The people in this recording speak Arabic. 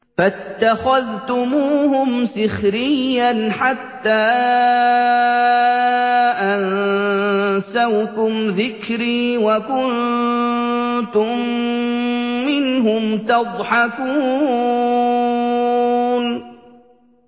فَاتَّخَذْتُمُوهُمْ سِخْرِيًّا حَتَّىٰ أَنسَوْكُمْ ذِكْرِي وَكُنتُم مِّنْهُمْ تَضْحَكُونَ